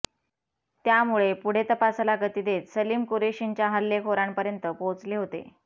त्यामुळे पुढे तपासाला गती देत सलीम कुरेशींच्या हल्लेखोरांपर्यंत पोहोचले होते